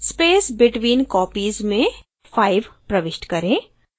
space between copies में 5 प्रविष्ट करें